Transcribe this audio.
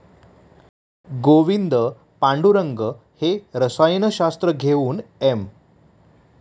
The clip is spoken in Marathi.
गोविंद पांडुरंग हे रसायनशास्त्र घेऊन एम.